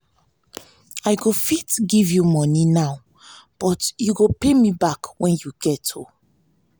i go fit give you money now but you go pay me back wen you get o.